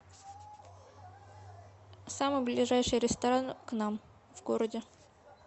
самый ближайший ресторан к нам в городе